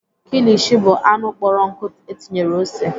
Kilishi bụ anụ kpọrọ nkụ etinyere ose.